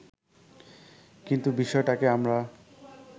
কিন্তু বিষয়টাকে আমরা